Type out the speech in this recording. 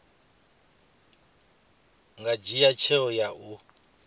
nga dzhia tsheo ya u